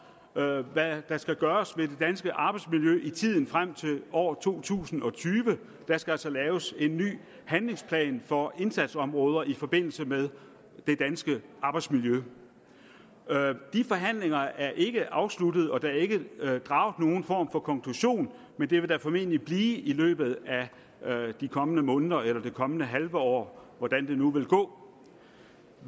hvad hvad der skal gøres ved det danske arbejdsmiljø i tiden frem til år to tusind og tyve der skal altså laves en ny handlingsplan for indsatsområder i forbindelse med det danske arbejdsmiljø de forhandlinger er ikke afsluttet og der er ikke draget nogen form for konklusion men det vil der formentlig blive i løbet af de kommende måneder eller det kommende halve år hvordan det nu vil gå